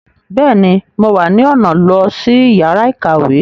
Bẹẹni, Mo wá ni ọna lo si yàrá ìkàwé